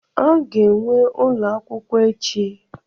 A ga-enwe ụlọ akwụkwọ echi?